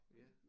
Ja